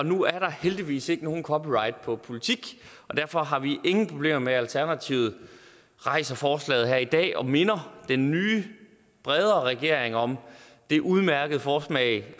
nu er der heldigvis ikke nogen copyright på politik og derfor har vi ingen problemer med at alternativet rejser forslaget her i dag og minder den nye bredere regering om det udmærkede forslag